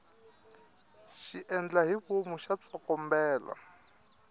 xiendlahivomu xa tsokombela